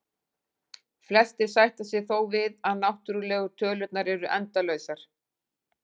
Flestir sætta sig þó við að náttúrlegu tölurnar eru endalausar.